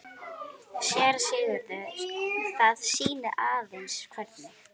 SÉRA SIGURÐUR: Það sýnir aðeins hvernig